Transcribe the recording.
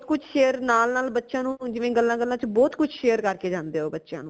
ਬਹੁਤ ਕੁਝ share ਨਾਲ ਨਾਲ ਬੱਚਿਆਂ ਨੂ ਜਿਵੇ ਗੱਲਾਂ ਗੱਲਾਂ ਵਿਚ ਬਹੁਤ ਕੁਝ share ਕਰ ਕੇ ਜਾਂਦੇ ਹੈ ਓ ਬੱਚਿਆਂ ਨੂ